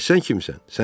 Bəs sən kimsən?